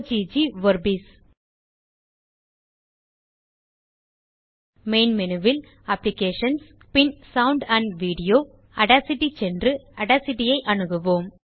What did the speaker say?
சீ LAME installation Ogg Vorbis main menu ல் applications பின் ஜிடிஜிடி சவுண்ட் ஆண்ட் வீடியோ ஜிடிஜிடி ஆடாசிட்டி சென்று ஆடாசிட்டி ஐ அணுகுவோம்